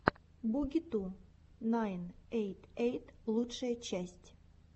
буги ту найн эйт эйт лучшая часть